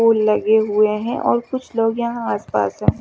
दो लगेज ये हे और कुछ लोग यहाँ आस पास है।